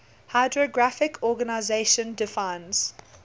hydrographic organization defines